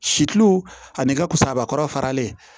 Si kilo ani kasabakɔrɔ faralen